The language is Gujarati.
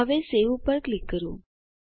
હવે સવે ઉપર ક્લિક કરો